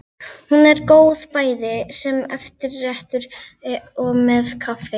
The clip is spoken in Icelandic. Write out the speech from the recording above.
Hún er góð bæði sem eftirréttur og með kaffi.